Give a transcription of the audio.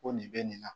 Ko nin bɛ nin na